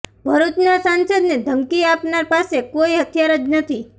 ભરૂચના સાંસદને ધમકી આપનાર પાસે કોઇ હથિયાર જ નથી